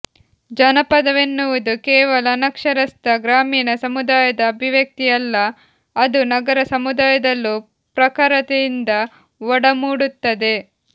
ಜಾನಪದವೆನ್ನುವುದು ಕೇವಲ ಅನಕ್ಷರಸ್ಥ ಗ್ರಾಮೀಣ ಸುಮುದಾಯದ ಅಭಿವ್ಯಕ್ತಿಯಲ್ಲ ಅದು ನಗರ ಸಮುದಾಯದಲ್ಲೂ ಪ್ರಖರತೆಯಿಂದ ಒಡಮೂಡುತ್ತದೆ